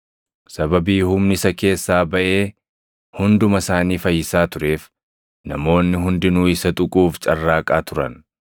sababii humni isa keessaa baʼee hunduma isaanii fayyisaa tureef, namoonni hundinuu isa tuquuf carraaqaa turan.